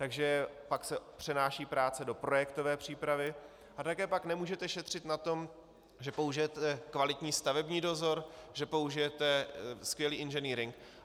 Takže pak se přenáší práce do projektové přípravy a také pak nemůžete šetřit na tom, že použijete kvalitní stavební dozor, že použijete skvělý inženýring.